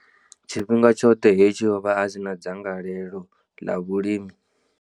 Tshifhinga tshoṱhe hetshi, o vha a si na dzangalelo ḽa vhulimi.